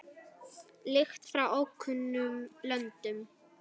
Lykt frá ókunnum löndum.